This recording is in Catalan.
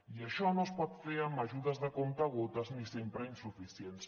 i això no es pot fer amb ajudes de comptagotes ni sempre insuficients